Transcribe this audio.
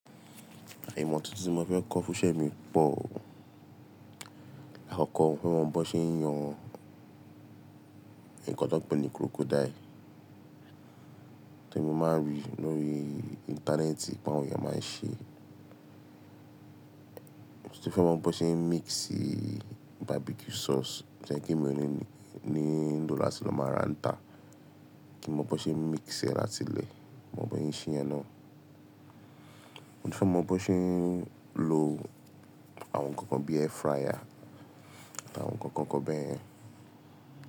Àìmọ̀ tuntun tí mo fẹ́ kọ́ fúnṣẹ mi pọ̀ o. Láàkọ́kọ́, mo fẹ́ mọ bí wọ́n ṣe ń yan nǹkan tó pè ní crocodile tó mi máa ń rí lórí íńtánẹ́ẹ̀tì pé àwọn èèyàn máa ń ṣe. Mo ti fẹ́ mọ bí wọ́n ṣe ń mixi barbecue sauce tó yẹ pé mi ó ní ní lọ̀ láti lọ máa ra ń ta Kí m mọ bó ṣe ń mix ẹ́ láti ilẹ̀, mọ bó ṣe ń ṣe iyẹn náà. Mo tùn fẹ́ mọ bó ṣe ń lo àwọn nǹkan kan bí air fryer, àwọn nǹkan kan kan bẹ́ẹ̀.